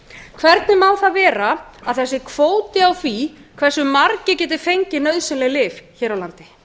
hvernig má það vera að það sé kvóti á því hversu margir geti fengið nauðsynleg lyf hér á landi